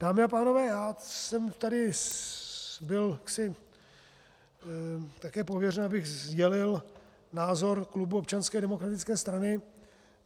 Dámy a pánové, já jsem tady byl jaksi také pověřen, abych sdělil názor klubu Občanské demokratické strany.